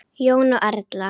Jón og Erla.